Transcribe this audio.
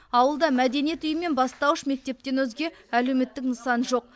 ауылда мәдениет үйі мен бастауыш мектептен өзге әлеуметтік нысан жоқ